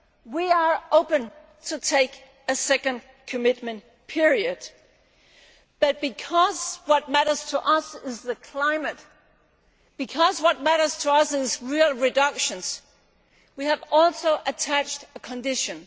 We are open to taking a second commitment period, but because what matters to us is the climate, and because what matters to us are real reductions, we have also attached a condition.